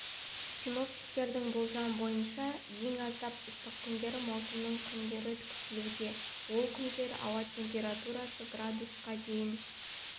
синоптиктердің болжамы бойынша ең аптап ыстық күндері маусымның күндері күтілуде ол күндері ауа температурасы градусқа дейін